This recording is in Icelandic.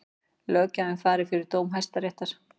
Löggjafinn fari yfir dóm Hæstaréttar